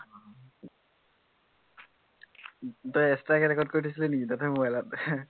তই extra কে record কৰি থৈছিলি নেকি দেউতাৰ mobile ত